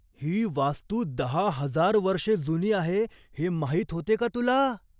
ही वास्तू दहा हजार वर्षे जुनी आहे हे माहीत होते का तुला?